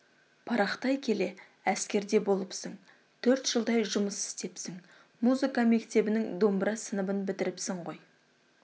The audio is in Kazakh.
парақтай келе әскерде болыпсың төрт жылдай жұмыс істепсің музыка мектебінің домбыра сыныбын бітіріпсің ғой